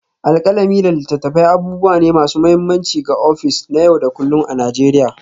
Alkalami da littattafai abubuwa ne masu mahimmanci ga ofis na yau da kullun a Najeriya.